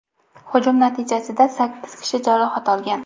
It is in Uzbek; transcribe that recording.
hujum natijasida sakkiz kishi jarohat olgan.